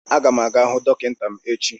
A ga m aga hụ dọkịta m echi